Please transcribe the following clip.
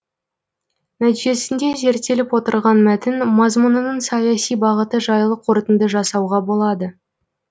нәтижесінде зерттеліп отырған мәтін мазмұнының саяси бағыты жайлы қорытынды жасауға болады